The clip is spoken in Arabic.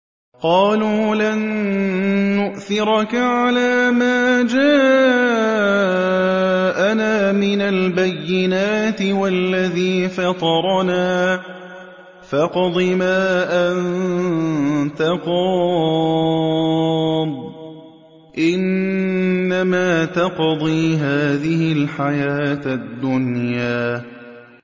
قَالُوا لَن نُّؤْثِرَكَ عَلَىٰ مَا جَاءَنَا مِنَ الْبَيِّنَاتِ وَالَّذِي فَطَرَنَا ۖ فَاقْضِ مَا أَنتَ قَاضٍ ۖ إِنَّمَا تَقْضِي هَٰذِهِ الْحَيَاةَ الدُّنْيَا